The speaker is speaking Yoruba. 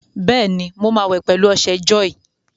Bẹ́ẹ̀ni, mo máa wẹ̀ pẹ̀lú ọṣẹ jọ́ọ̀yì.